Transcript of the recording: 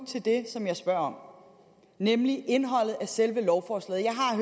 til det som jeg spørger om nemlig indholdet af selve lovforslaget jeg har